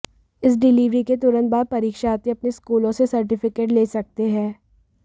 इस डिलीवरी के तुरंत बाद परीक्षार्थी अपने स्कूलों से सर्टिफिकेट ले सकते हैं